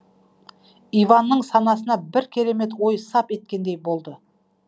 иванның санасына бір керемет ой сап еткендей болды